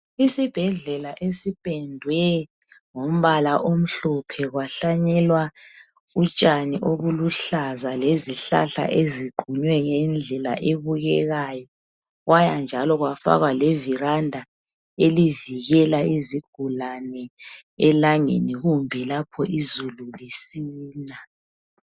Isibhedlela esipendwe ngombala omhlophe kwahlanyelwa utshani obuluhlaza lezihlahla eziqunywe ngendlela ebukekayo kwaya njalo kwafakwa levelanda elivikela izigulane elangeni kumbe lapho izulu lisina.